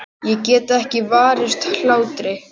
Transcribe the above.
Ég get ekki varist hlátri.